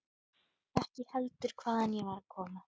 Ekki heldur hvaðan ég var að koma.